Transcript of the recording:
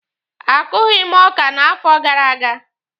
A kụghị m ọkà n'afọ gara aga.